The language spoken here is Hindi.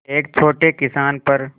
एक छोटे किसान पर